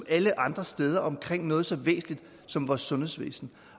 alle andre steder om noget så væsentligt som vores sundhedsvæsen